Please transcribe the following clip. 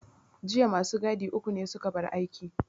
Jiya ma su gadi uku ne su ka bar aiki.